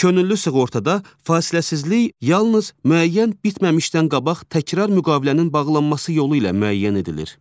Könüllü sığortada fasiləsizlik yalnız müəyyən bitməmişdən qabaq təkrar müqavilənin bağlanması yolu ilə müəyyən edilir.